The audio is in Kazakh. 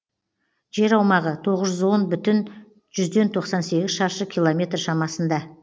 жер аумағы тоғыз жүз он бүтін жүзден тоқсан сегіз шаршы километр шамасында